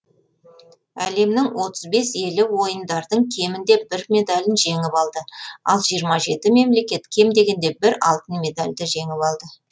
әлемнің отыз бес елі ойындардың кемінде бір медалін жеңіп алды ал жиырма жеті мемлекет кем дегенде бір алтын медальді жеңіп алды